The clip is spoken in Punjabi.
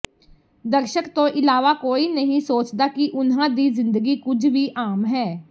ਦਰਸ਼ਕ ਤੋਂ ਇਲਾਵਾ ਕੋਈ ਨਹੀਂ ਸੋਚਦਾ ਕਿ ਉਨ੍ਹਾਂ ਦੀ ਜ਼ਿੰਦਗੀ ਕੁਝ ਵੀ ਆਮ ਹੈ